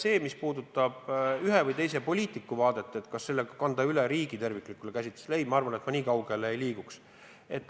Aga mis puudutab ühe või teise poliitiku vaadet, kas kanda seda üle riigi terviklikule käsitusele, siis ma nii kaugele ei läheks.